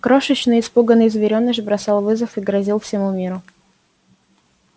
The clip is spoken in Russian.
крошечный испуганный зверёныш бросал вызов и грозил всему миру